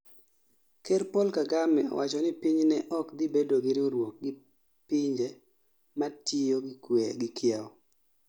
Ker Paul Kagame owacho ni piny ne ok dhi bedo gi riwruok gi pinye matiyo gi kiewo